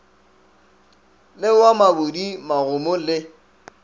le wa mabudi magomo le